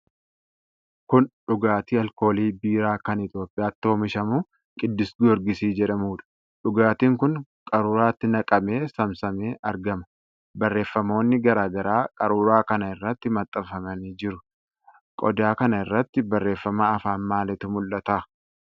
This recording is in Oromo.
Kun dhugaatii alkoolii biiraa kan Itoophiyaatti oomishamu Qiddus Goorgisii jedhamuudha. Dhugaatiin kun qaruuraatti naqamee saamsamee argama. Barreefamoonni garaa garaa qaruuraa kana irratti maxxanfamanii jiru. Qodaa kana iratti barreefama afaan maaliitu mul'ata?